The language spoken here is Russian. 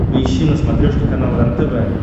поищи на смотрешке канал рентв